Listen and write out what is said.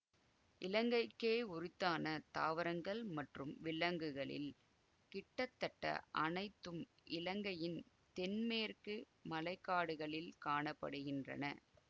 இலங்கைக்கே யுரித்தான தாவரங்கள் மற்றும் விலங்குகளில் கிட்டத்தட்ட அனைத்தும் இலங்கையின் தென்மேற்கு மழை காடுகளில் காண படுகின்றன